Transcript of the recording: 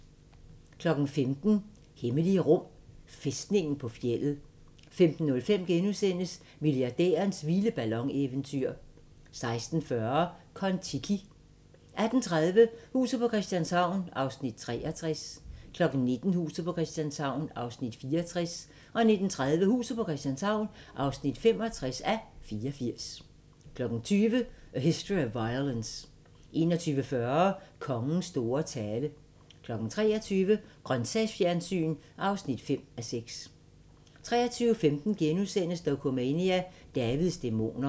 15:00: Hemmelige rum: Fæstningen på fjeldet 15:05: Milliardærens vilde ballon-eventyr * 16:40: Kon-Tiki 18:30: Huset på Christianshavn (63:84) 19:00: Huset på Christianshavn (64:84) 19:30: Huset på Christianshavn (65:84) 20:00: A History of Violence 21:40: Kongens store tale 23:00: Grøntsagsfjernsyn (5:6) 23:15: Dokumania: Davids dæmoner *